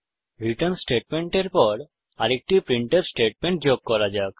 return স্টেটমেন্টের পর আরেকটি প্রিন্টফ স্টেটমেন্ট যোগ করা যাক